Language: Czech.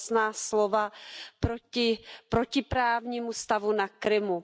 Jasná slova proti protiprávnímu stavu na Krymu.